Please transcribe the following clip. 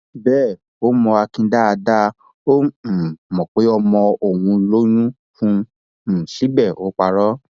bẹẹ ó mọ akin dáadáa ó um mọ pé ọmọ òun lóyún fún un um síbẹ ó parọ